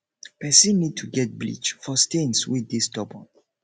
person need to get bleach for stains wey dey stubborn